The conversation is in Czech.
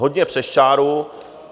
Hodně přes čáru.